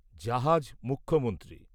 জাহাজ মুখ্যমন্ত্রী